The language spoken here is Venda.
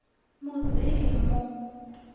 mudzimu